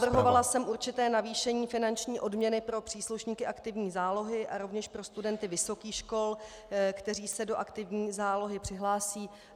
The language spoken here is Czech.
Navrhovala jsem určité navýšení finanční odměny pro příslušníky aktivní zálohy a rovněž pro studenty vysokých škol, kteří se do aktivní zálohy přihlásí.